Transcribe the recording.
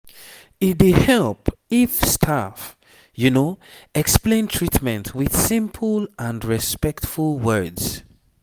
e dey help if staff explain treatment with simple and respectful words